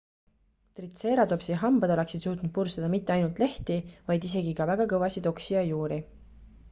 tritseeratopsi hambad oleksid suutnud purustada mitte ainult lehti vaid isegi ka väga kõvasid oksi ja juuri